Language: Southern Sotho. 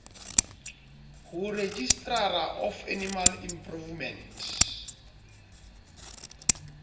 ho registrar of animal improvement